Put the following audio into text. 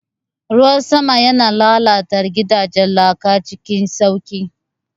Ruwan sama yana lalata gidajen laka cikin sauƙi.